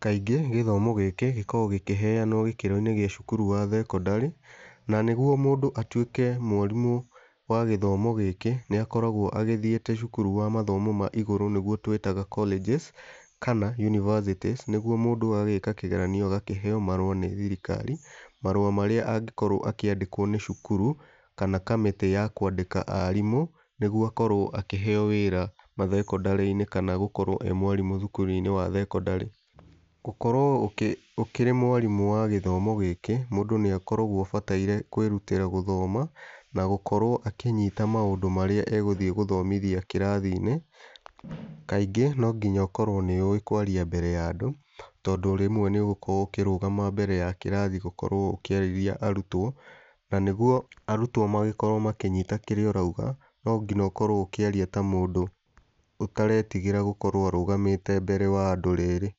Kaingĩ gĩthomo gĩkĩ gĩkoragwo gĩkĩheanwo gĩkĩro-inĩ gĩ thukuru wa thekondarĩ, na nĩguo mũndũ atuĩke mwarimũ wa gĩthomo gĩkĩ nĩ akoragwo agĩthiĩte cukuru wa mathomo ma igũrũ nĩguo twĩtaga colleges kana universities nĩguo mũndũ agagĩka kĩgeranio ũgakĩheo marũa nĩ thirikari. Marũa marĩa angĩkorwo akĩandĩkwo nĩ cukuru kana kamĩtĩ ya kwandĩka arimũ nĩguo akorwo akĩheo wĩra mathekondarĩ-inĩ kana gũkorwo e mwarimũ thukuru-inĩ wa thekondarĩ. Gũkorwo ũkĩrĩ mwarimũ wa gĩthomo gĩkĩ mũndũ nĩ akoragwo abataire kwĩrutĩra gũthoma na gũkorwo akĩnyita maũndũ marĩa egũthiĩ gũthomithia kĩrathi-inĩ. Kaingĩ no nginya ũkorwo nĩ ũĩ kwaria mbere ya andũ, tondũ rĩmwe nĩ ũgũkorwo ukĩrũgama mbere ya kĩrathi gũkorwo ũkĩarĩria arutwo. Na nĩguo arutwo makorwo makĩnyita kĩrĩa ũrauga no nginya ũkorwo ũkĩaria ta mũndũ ũtaretigĩra gũkorwo arũgamĩte mbere ya andũ rĩrĩ.